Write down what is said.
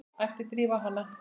æpti Drífa á hana.